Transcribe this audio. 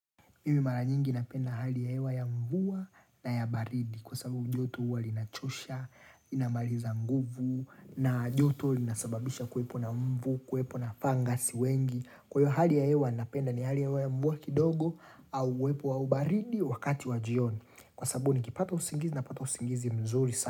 Mimi mara nyingi napenda hali ya hewa ya mvua na ya baridi kwa sababu joto huwa linachosha, linamaliza nguvu na joto linasababisha kuwepo na mbu, kuwepo na fangasi wengi. Kwahiyo hali ya hewa ninapenda ni hali ya hewa ya mvua kidogo au uwepo wa baridi wakati wa jioni. Kwa sababu nikipata usingizi na pata usingizi mzuri sana.